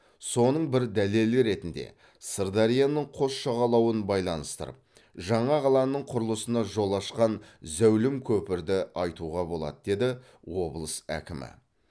соның бір дәлелі ретінде сырдарияның қос жағалауын байланыстырып жаңа қаланың құрылысына жол ашқан зәулім көпірді айтуға болады деді облыс әкімі